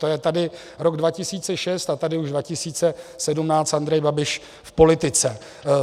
To je tady rok 2006 a tady už 2017 Andrej Babiš v politice.